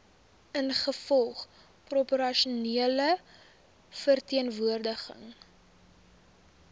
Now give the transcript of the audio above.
ingevolge proporsionele verteenwoordiging